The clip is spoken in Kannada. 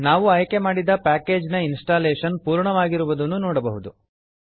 ನಾವು ಆಯ್ಕೆ ಮಾಡಿದ ಪ್ಯಾಕೇಜ್ ನ ಇನ್ಸ್ಟಾಲೇಶನ್ ಪೂರ್ಣವಾಗಿರುವುದನ್ನು ನೋಡಬಹುದು